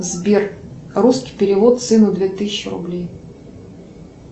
сбер русский перевод сыну две тысячи рублей